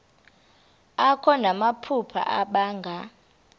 akho namaphupha abanga